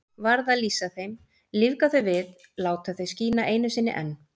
Varð að lýsa þeim, lífga þau við, láta þau skína einu sinni enn.